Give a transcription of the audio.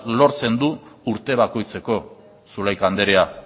lortzen du urte bakoitzeko zulaika andrea